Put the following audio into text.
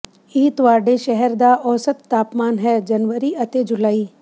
ਇਹ ਤੁਹਾਡੇ ਸ਼ਹਿਰ ਦਾ ਔਸਤ ਤਾਪਮਾਨ ਹੈ ਜਨਵਰੀਅਤੇ ਜੁਲਾਈ